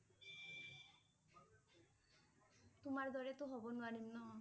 তোমাৰ দৰে টো হব নোৱাৰিম ন